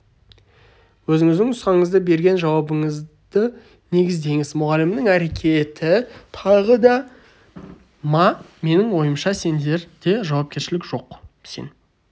өзіңіздің нұсқаңыз берген жауабыңызды негіздеңіз мұғалімнің әрекеті тағы да ма менің ойымша сенде жауапкершілік жоқ сен